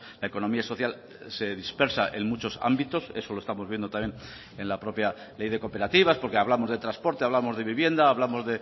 la economía social se dispersa en muchos ámbitos eso lo estamos viendo también en la propia ley de cooperativas porque hablamos de transporte hablamos de vivienda hablamos